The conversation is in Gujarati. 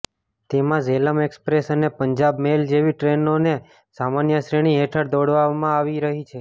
તેમા ઝેલમ એક્સપ્રેસ અને પંજાબ મેલ જેવી ટ્રેનોને સામાન્ય શ્રેણી હેઠળ દોડાવવામાં આવી રહી છે